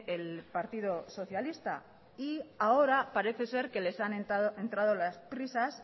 el partido socialista y ahora parece ser que les han entrado las prisas